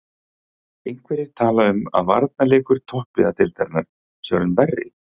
Einhverjir tala um að varnarleikur toppliða deildarinnar sé orðinn verri.